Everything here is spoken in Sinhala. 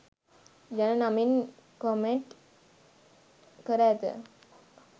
යන නමින් කොමෙන්ට් කර ඇත